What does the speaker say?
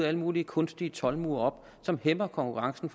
alle mulige kunstige toldmure op som hæmmer konkurrencen